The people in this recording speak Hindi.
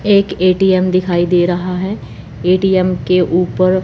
एक ए_टी_एम दिखाई दे रहा है ए_टी_एम के ऊपर--